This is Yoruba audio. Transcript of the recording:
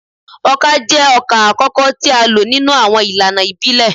Oka jẹ ọkà akọkọ ti a lo ninu awọn ilana ibile